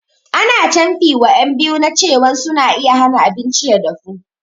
Ana canfi wa ƴan biyu na cewan suna iya hana abinci ya dafu